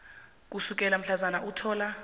ukusukela mhlazana uthola